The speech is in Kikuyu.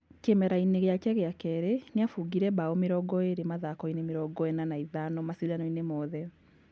Kĩmera-inĩ gĩake gĩa kerĩ nĩ abũngire mbao mĩrongo ĩrĩ mathakoĩni mĩrongo ĩna na ithano macindanoĩni mothe.